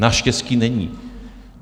Naštěstí není.